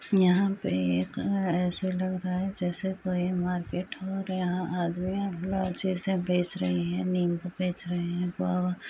यहाँ पे एक ऐसे लग रहा है जैसे कोई मारपीट हो यहाँ आदमी अपना चीज़ें बेच रही है निम्बू बेच रहें है गुआवा --